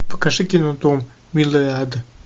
покажи кино дом милый ад